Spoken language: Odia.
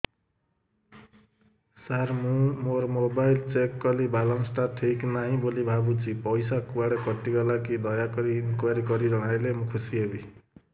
ସାର ମୁଁ ମୋର ମୋବାଇଲ ଚେକ କଲି ବାଲାନ୍ସ ଟା ଠିକ ନାହିଁ ବୋଲି ଭାବୁଛି ପଇସା କୁଆଡେ କଟି ଗଲା କି ଦୟାକରି ଇନକ୍ୱାରି କରି ଜଣାଇଲେ ମୁଁ ଖୁସି ହେବି